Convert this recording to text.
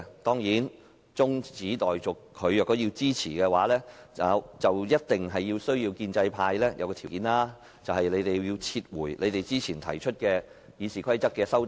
當然，要他支持中止待續議案，建制派必須符合一個條件，便是他們要撤回先前提出的《議事規則》的修正案。